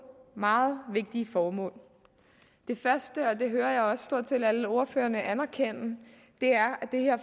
meget vigtige formål det første og det hører jeg også stort set alle ordførerne anerkende er at det her